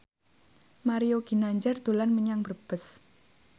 Mario Ginanjar dolan menyang Brebes